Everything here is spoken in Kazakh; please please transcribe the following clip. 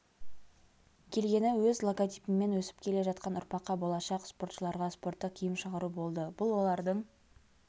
келгені өз логотипіммен өсіп келе жатқан ұрпаққа болашақ спортшыларға спорттық киім шығару болды бұл олардың